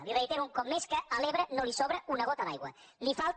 i li reitero un cop més que a l’ebre no li sobra una gota d’aigua li’n falta